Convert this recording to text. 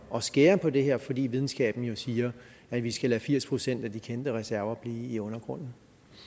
at skære på det her fordi videnskaben jo siger at vi skal lade firs procent af de kendte reserver blive i undergrunden